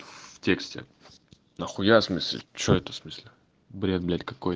в тексте нахуя смысле что это смысле бред блять какой